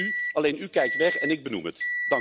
En dat wéét u, alleen u kijkt weg en ik benoem het.